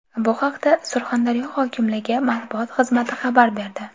Bu haqda Surxondaryo hokimligi matbuot xizmati xabar berdi.